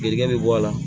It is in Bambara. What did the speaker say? Geren bɛ bɔ a la